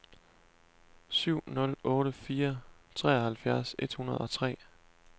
syv nul otte fire treoghalvfjerds et hundrede og tre